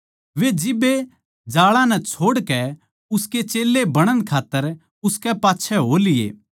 वे जिब्बे जाळां नै छोड़कै उसके चेल्लें बणण खात्तर उसकै पाच्छै हो लिये